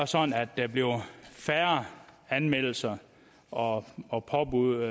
sådan at der bliver færre anmeldelser og og påbud